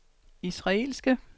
israelske